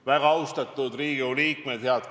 Väga austatud Riigikogu liikmed!